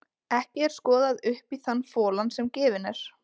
Ekki er skoðað upp í þann folann sem gefinn er.